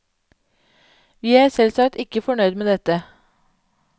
Vi er selvsagt ikke fornøyd med dette.